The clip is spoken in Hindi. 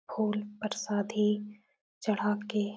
फूल प्रसादी चढ़ा के --